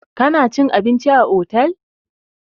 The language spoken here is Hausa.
Kana cin abinci a otel!